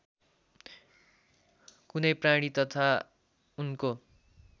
कुनै प्राणी तथा उनको